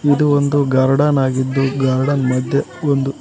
ಇದು ಒಂದು ಗಾರ್ಡನ್ ಆಗಿದ್ದು ಗಾರ್ಡನ್ ಮಧ್ಯೆ ಒಂದು--